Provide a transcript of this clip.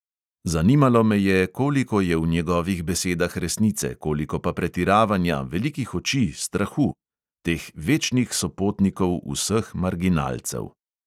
Zanimalo me je, koliko je v njegovih besedah resnice, koliko pa pretiravanja, velikih oči, strahu ... teh večnih sopotnikov vseh marginalcev.